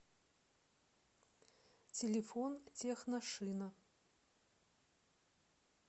телефон техношина